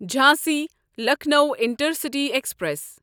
Jhansi Lucknow intercity express